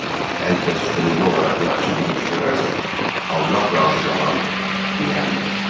Hər kəs könüllü olaraq yaxşı bir iş görərsə, Allah razı qaladır, biləndir.